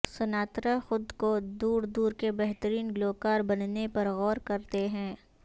Sinatra خود کو دور دور کے بہترین گلوکار بننے پر غور کرتے ہیں